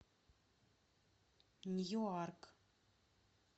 ньюарк